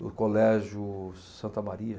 Do Colégio Santa Maria.